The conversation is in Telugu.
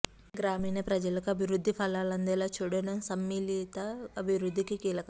గ్రామీణ ప్రజలకు అభివృద్ధి ఫలాలు అందేలా చూడటం సమ్మిళిత అభివృద్ధికి కీలకం